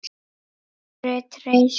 Okkur er treyst